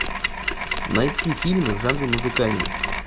найти фильмы в жанре музыкальный